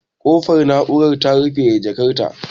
Kofar na'urar ta rufe da jakar ta